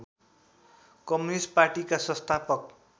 communist पार्टीका संस्थापक